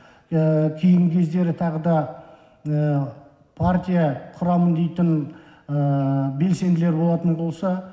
кейінгі кездері тағы да партия құрамын дейтін белсенділер болатын болса